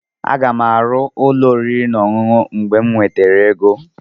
Aga m arụ ụlọ oriri na ọṅụṅụ mgbe m nwetara ego.